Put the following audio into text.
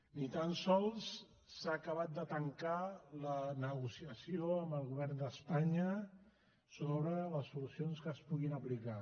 ni tan sols s’ha acabat de tancar la negociació amb el govern d’espanya sobre les solucions que es puguin aplicar